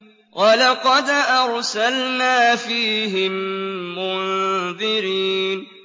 وَلَقَدْ أَرْسَلْنَا فِيهِم مُّنذِرِينَ